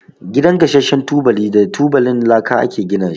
Gidan gasashen tubali da tubalin laka ake gina shi.